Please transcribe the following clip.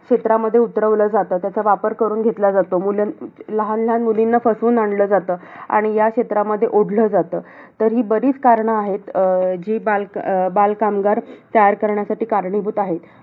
क्षेत्रामध्ये उतरवलं जातं. त्यांचा वापर करून घेतला जातो. मुल~ लहान लहान मुलींना फसवून आणलं जातं. आणि याक्षेत्रामध्ये ओढलं जातं. तर ही बरीचं कारणं आहेत अं जी बालक~ बालकामगार तयार करण्यासाठी कारणीभूत आहेत.